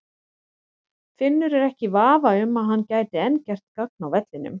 Finnur er ekki í vafa um að hann gæti enn gert gagn á vellinum.